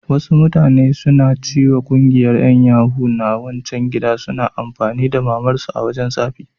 Wasu mutane suna ciwa ƙungiyar yan yahoo na wancan gidan suna amfani da mamar su a wajan tsafi.